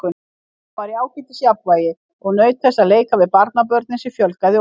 Mamma var í ágætis jafnvægi og naut þess að leika við barnabörnin sem fjölgaði óðum.